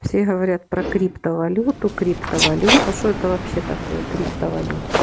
все говорят про криптовалюту криптовалюта что это вообще такое криптовалюта